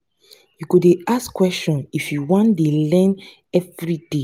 you go dey ask questions if you want dey learn everyday.